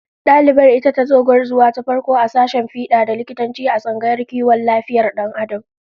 Dalibar ita tazo gwarzuwa ta farko a sashen fida da likitanci, a tsangayar kiwon lafiyar Dan Adam